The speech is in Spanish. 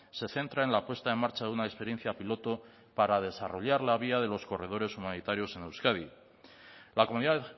se centra en la puesta en marcha de una experiencia piloto para desarrollar la vía de los corredores humanitarios en euskadi la comunidad